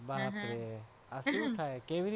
બાપર આ શું ખાય?